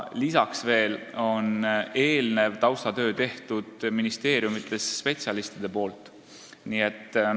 Lisaks veel on eelneva taustatöö teinud ministeeriumide spetsialistid.